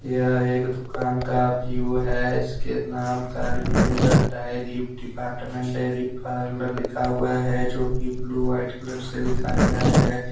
यह एक दुकान का व्यू हैं इसके नाम Karimnagar diary department dairy parlour हैं लिखा हुआ हैं जो की ब्लू व्हाईट कलर से लिखा गया है।